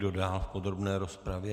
Kdo dál v podrobné rozpravě?